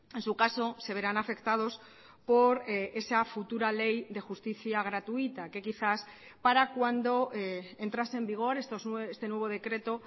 en su caso se verán afectados por esa futura ley de justicia gratuita que quizás para cuando entrase en vigor este nuevo decreto